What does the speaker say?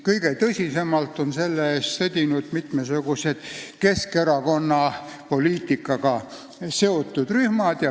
Kõige tõsisemalt on selle eest sõdinud mitmesugused Keskerakonna poliitikaga seotud rühmad.